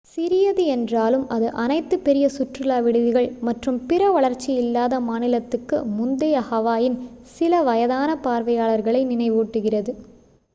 சிறியது என்றாலும் அது அனைத்து பெரிய சுற்றுலா விடுதிகள் மற்றும் பிற வளர்ச்சி இல்லாத மாநிலத்துக்கு முந்தைய ஹவாயின் சில வயதான பார்வையாளர்களை நினைவூட்டுகிறது